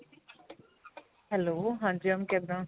hello ਹਾਂਜੀ mam ਕਿੱਦਾਂ